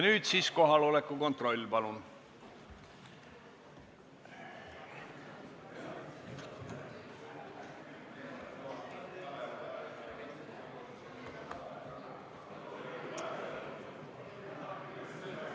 Nüüd kohaloleku kontroll, palun!